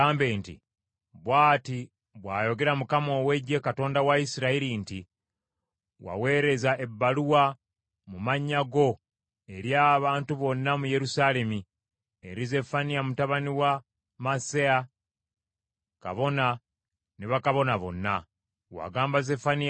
“Bw’ati bw’ayogera Mukama ow’Eggye, Katonda wa Isirayiri nti, Waweereza ebbaluwa mu mannya go eri abantu bonna mu Yerusaalemi, eri Zeffaniya mutabani wa Maaseya kabona ne bakabona bonna. Wagamba Zeffaniya nti,